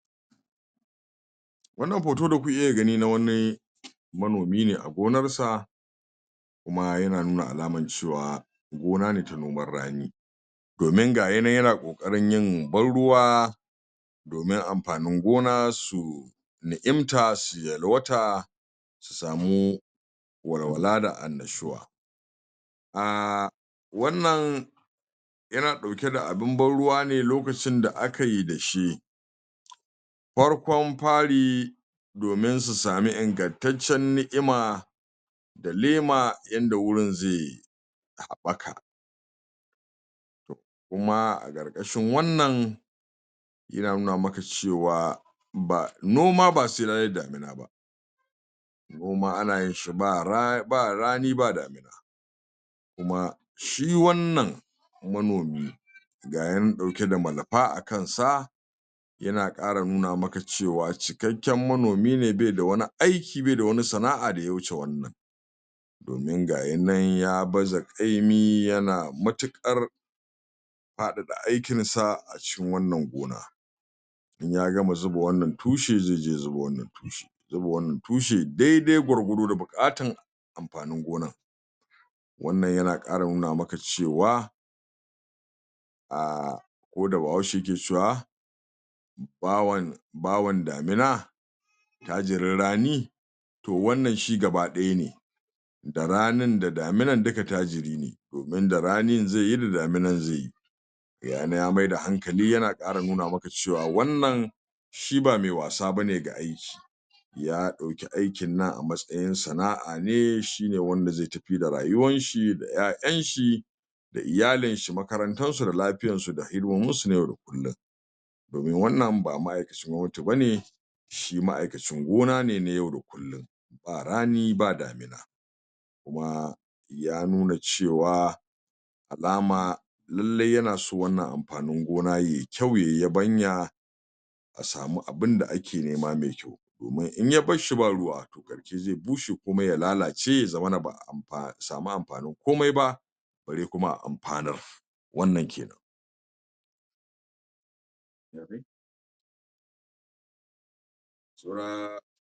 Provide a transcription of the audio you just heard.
Wannan hoto da kuke gani na wani manomi ne a gonar sa kuma yana nuna alamar gona ne ta noman rani domin gayinan yana ƙoƙarin yin ban ruwa domin amfanin gona su na'imta su yalwata su samu walwala da annashuwa um wannan yana ɗauke da abin ban ruwa ne lokacin da akayi da shi farkon fari domin su samu ingantaccen ni'ima da lema yanda wurin ze haɓɓaka kuma a ƙarƙashin wannan yana nuna maka cewa ba noma ba sai ranan da noma ana yin shi ba rani ba kuma shi wannan manomi gayi nan ɗauke da malfa a kansa yana ƙara nuna maka cewa cikakken manomi ne bai da wani aiki bai da wani sana'a da ya wuce wannan domin gayinan ya baza ƙaimi yana matuƙar faɗaɗa aikin sa a cikin wannan gona in ya gama zuba wannan tushen zai je ya zuba wannan zuba wannan tushen daidai gwargwado da buƙatan amfanin gonar wannan yana ƙara nuna maka cewa um ko da bahaushe yake cewa bawan bawan damina attajirin raani, to wannan shi gabadaya ne da ranin da daminan duka tajiri ne domin da raanin zaiyi da daminan zaiyi gayinan ya maida hankali yana ƙara nuna maka cewa wannan shi ba mai wasa bane ga aiki ya ɗauki aikin nan a matsayin sana'a ne shine wanda zai tafi da rayuwar shi da ƴaƴan shi da iyalin shi makarantar su da lafiyan su da hidimomin su na yau da kullum domin wannan ba ma'aikacin gwamnati bane shi ma'aikacin gona ne na yau da kullum ba rani ba damina kuma ya nuna cewa alama lallai yanaso wannan amfanin gona yayi kyau yayi yabanya a samu abin da ake nema mai domin in ya barshi ba ruwa zai bushe kuma ya lalace ya zamana ba a amfa samu amfanin komai ba ba zai kuma amfanar wannan kenan saura.